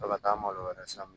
Ka taa malo wɛrɛ san